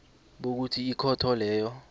bokuthi ikhotho leyo